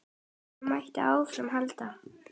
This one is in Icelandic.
Svona mætti áfram halda.